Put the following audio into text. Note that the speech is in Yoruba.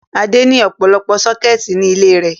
Adé ní ọ̀pọ̀lọpọ̀ sọ́kẹ́tì ní ilé rẹ̀.